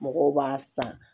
Mɔgɔw b'a san